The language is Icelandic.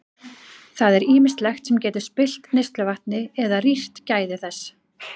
Það er ýmislegt sem getur spillt neysluvatni eða rýrt gæði þess.